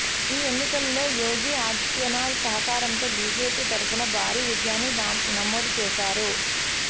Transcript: ఈ ఎన్నికల్లో యోగి ఆదిత్యనాథ్ సహకారంతో బీజేపీ తరఫున భారీ విజయాన్ని నమోదు చేశారు